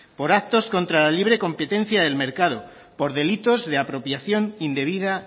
por actos contra la libre competencia del mercado por delitos de apropiación indebida